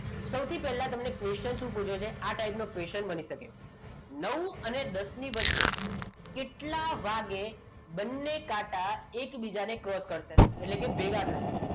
સૌથી પહેલાં તમને question શું પૂછે છે આ type નો question બની શકે નવ અને દસ ની વચ્ચે કેટલા વાગે બંને કાંટા એકબીજાને cross કરશે એટલે કે ભેગા થશે